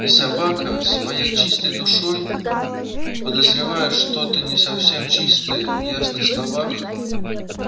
и собака своей чистой душой подозревая что-то не совсем чистое в ясных словах